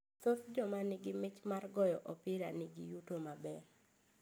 Thoth joma nigi mich mar goyo opira ni gi yuto maber.